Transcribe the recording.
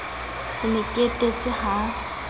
ke ne ke etetse ha